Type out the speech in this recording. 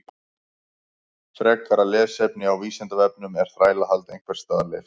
Frekara lesefni á Vísindavefnum Er þrælahald einhvers staðar leyft?